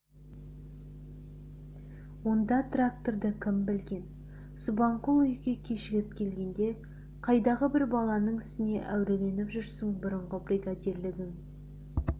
онда тракторды кім білген субанқұл үйге кешігіп келгенде қайдағы бір баланың ісіне әуреленіп жүрсің бұрынғы бригадирлігің